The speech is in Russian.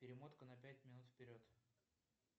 перемотка на пять минут вперед